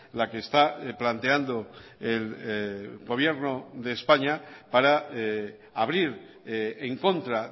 la que está planteando el gobierno de españa para abrir en contra